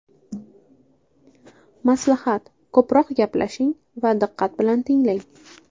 Maslahat: Ko‘proq gaplashing va diqqat bilan tinglang!